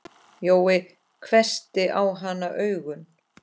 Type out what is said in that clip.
Jói hvessti á hana augun.